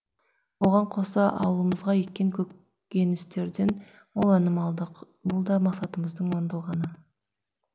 оған қоса аулымызға еккен көгөністерден мол өнім алдық бұлда мақсатымыздың орындалғаны